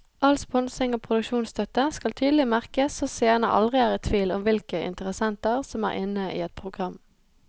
All sponsing og produksjonsstøtte skal tydelig merkes så seerne aldri er i tvil om hvilke interessenter som er inne i et program.